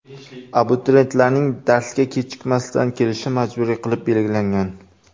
Abituriyentlarning darsga kechikmasdan kelishi majburiy qilib belgilangan.